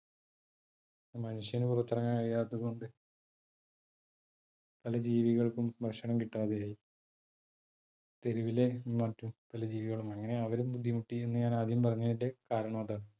മനുഷ്യന് പുറത്തിറങ്ങാൻ കഴിയാത്ത കൊണ്ട് പല ജീവികൾക്കും ഭക്ഷണം കിട്ടാതെ ആയി, തെരുവിലേ മറ്റു പല ജീവികളും അങ്ങനെ അവരും ബുദ്ധിമുട്ടി എന്ന് ഞാൻ ആദ്യം പറഞ്ഞതിന്റെ കാരണം അതാണ്.